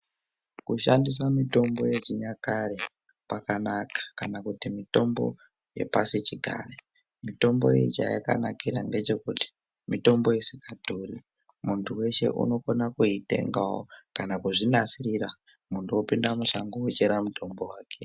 Kushandisa mitombo yechinyakare kwakanaka kana kuti mitombo yepasichigare mitombo iyi chayakanira ngechekuti mitombo isikadhuri muntu weshe unokona kuitengawo kana kuzvinasirira muntu opinda mushango ochera mutombo wake.